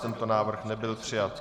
Tento návrh nebyl přijat.